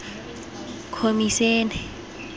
khomisene